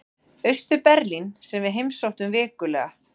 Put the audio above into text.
Austur-Berlín sem við heimsóttum vikulega.